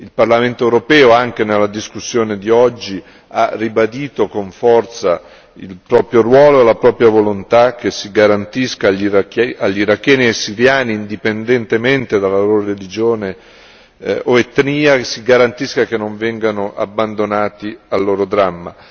Il Parlamento europeo anche nella discussione di oggi ha ribadito con forza il proprio ruolo e la propria volontà che si garantisca agli iracheni e ai siriani, indipendentemente dalla loro religione o etnia, che non vengano abbandonati al loro dramma.